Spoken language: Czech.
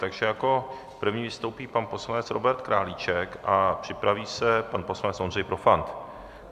Takže jako první vystoupí pan poslanec Robert Králíček a připraví se pan poslanec Ondřej Profant.